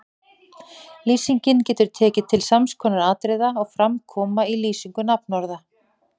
Lýsingin getur tekið til sams konar atriða og fram koma í lýsingu nafnorða